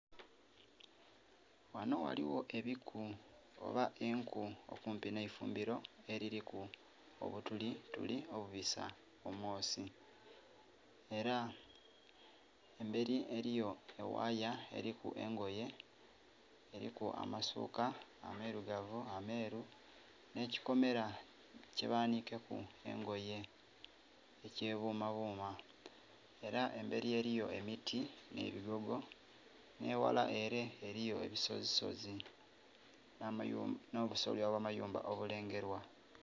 Ghanho ghaligho ebiku oba enku okumpi neifumbiro eririku obuturitiri obubisa omwosi era eberi eriyo ewaya eriku engoye eriku amasuka amairugavu, meeru nekyikomera kyebanikeku engoye ekyebumabuma era emberi eriyo emiti nhebigogo nheghala ere eriyo ebisozisozi nhobusolya obwa mayumba obulengerwa.